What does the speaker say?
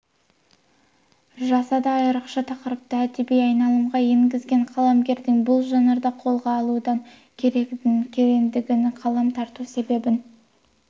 жасады айрықша тақырыпты әдеби айналымға енгізген қаламгердің бұл жанрды қолға алудағы көрегендігін қалам тарту себебін